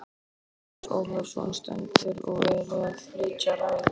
Matthías Ólafsson stendur og er að flytja ræðu.